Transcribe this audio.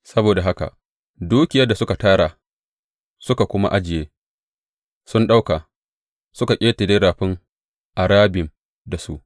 Saboda haka dukiyar da suka tara suka kuma ajiye sun ɗauka suka ƙetare Rafin Arabim da su.